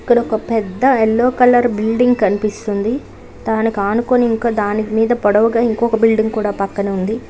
ఇక్కడ పెద్ద yellow colour building కనిపిస్తంది దానికి అనుకోని దాని మీద పొడవుగా ఇంకొక బిల్డింగ్ కూడా పక్కన ఉంది.